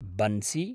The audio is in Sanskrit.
बन्सि